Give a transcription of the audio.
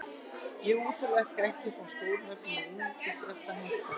Ég útiloka ekki að fá stór nöfn en einungis ef það hentar.